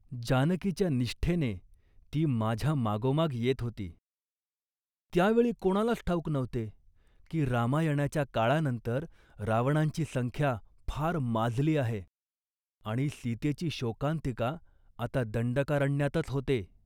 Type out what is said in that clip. जानकीच्या निष्ठेने ती माझ्या मागोमाग येत होती. त्या वेळी कोणालाच ठाऊक नव्हते, की रामायणाच्या काळानंतर रावणांची संख्या फार माजली आहे आणि सीतेची शोकांतिका आता दंडकारण्यातच होते